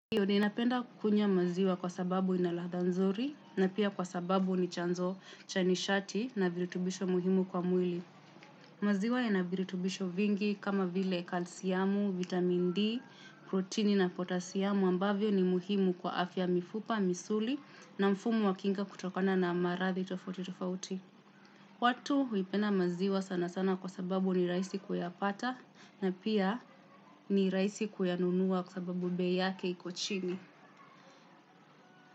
Ndiyo ninapenda kukunywa maziwa kwa sababu ina ladha nzuri na pia kwa sababu ni chanzo cha nishati na virutubisho muhimu kwa mwili. Maziwa yana virutubisho vingi kama vile kalsiamu, vitamin D, proteini na potasiamu ambavyo ni muhimu kwa afya ya mifupa, misuli na mfumo wa kinga kutokana na maradhi tofauti tofauti. Watu huipenda maziwa sana sana kwa sababu ni rahisi kuyapata na pia ni rahisi kuyanunua kwa sababu bei yake iko chini.